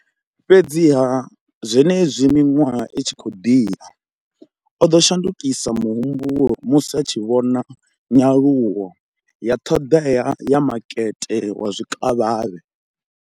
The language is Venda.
Fhedziha, zwenezwi miṅwaha i tshi khou ḓi ya, o ḓo shandukisa muhumbulo musi a tshi vhona nyaluwo ya ṱhoḓea ya makete wa zwikavhavhe.